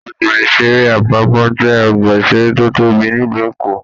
Ọgbà-ìṣeré Apapa jẹ ọgbà-iṣere tó tóbi nílu Èkó.